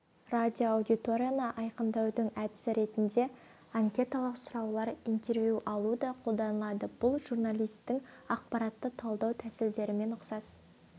радиоаудиторияны айқындаудың әдісі ретінде анкеталық сұраулар интервью алу да қолданылады бұл журналистің ақпаратты талдау тәсілдерімен ұқсас